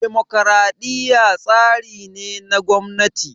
Dimokraɗiya tsari ne na gwamnati